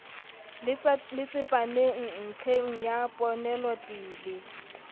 le tsepameng nlheng ya ponelopele